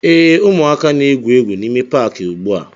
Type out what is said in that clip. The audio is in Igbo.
Ee, ụmụaka na-egwu egwu n'ime Paakị ugbua